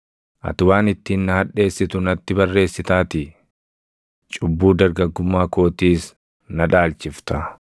Ati waan ittiin na hadheessitu natti barreessitaatii; cubbuu dargaggummaa kootiis na dhaalchifta.